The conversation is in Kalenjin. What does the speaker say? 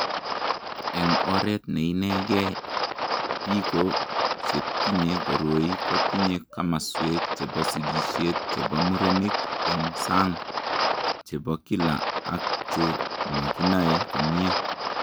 Eng' oret ne inegee, biko che tinye koroi kotinye komaswek chebo sigishet chebo murenik eng' sang, che bo kila ak che makinae komnyie.